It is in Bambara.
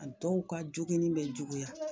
A dɔw ka jogini be juguya